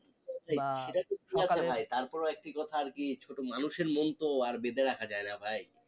তারপরেও একটি কথা আর কি ছোট মানুষের মন তো আর বেঁধে রাখা যায় না ভাই